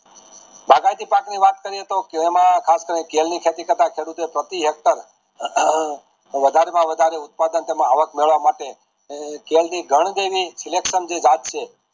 બાગાયતી પાકની વાત કરીયે તોહ એમાં ખાસ કરીને કરીને પ્રતિ ઇખ્તર વધારે માં વધારે ઉથપધાન માં આવક મેળવા માટે આ ઘન જે એની selection જે જાત છે